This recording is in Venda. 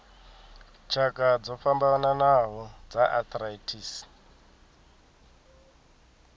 tshakha dzo fhambanaho dza arthritis